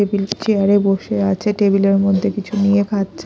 Table chair -এ বসে আছে টেবিল -এর মধ্যে কিছু নিয়ে খাচ্ছে।